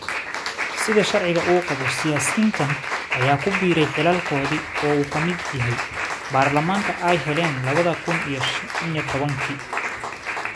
Sida sharciga uu qabo siyaasiyiintan ayaa ku biiray xilalkooda oo uu ka mid yahay baarlamaanka ay heleen lawo kuun iyo shaan iyo tobaanki